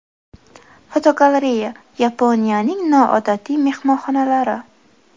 Fotogalereya: Yaponiyaning noodatiy mehmonxonalari.